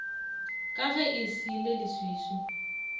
ka ge e sa leleswiswi